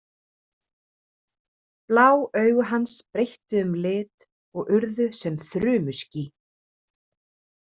Blá augu hans breyttu um lit og urðu sem þrumuský.